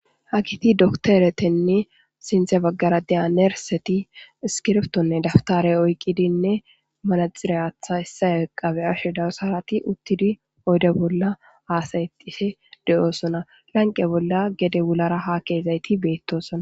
ha kiti dokteretenne sinthe baggara deya nerseti iskirftonne daftare oyqqidinne manaxiriyatha issae qabe ashe dawusarati uttidi oyde bolla aasayxife de7oosona lanqe bolla gede wulara ha keezayti beettosona